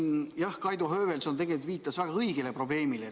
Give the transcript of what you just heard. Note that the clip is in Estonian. Aga jah, Kaido Höövelson viitas väga õigele probleemile.